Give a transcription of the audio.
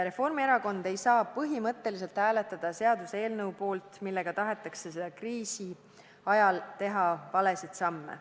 Reformierakond ei saa põhimõtteliselt hääletada seaduseelnõu poolt, millega tahetakse kriisi ajal teha valesid samme.